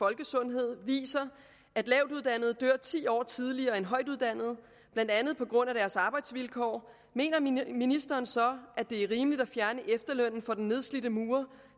folkesundhed viser at lavtuddannede dør ti år tidligere end højtuddannede blandt andet på grund af deres arbejdsvilkår mener ministeren så at det er rimeligt at fjerne efterlønnen for den nedslidte murer